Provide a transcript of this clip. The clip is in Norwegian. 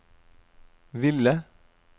ville